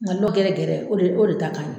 A n'o gɛrɛ gɛrɛ o o de ta kaɲi